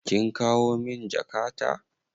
Kin kawo min jakata?